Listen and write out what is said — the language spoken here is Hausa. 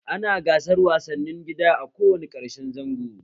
Ana gasar wasanni gida a ko wane ƙarshen zango